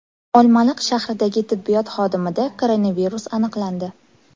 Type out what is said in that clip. Olmaliq shahridagi tibbiyot xodimida koronavirus aniqlandi.